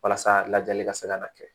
Walasa lajɛli ka se ka na kɛ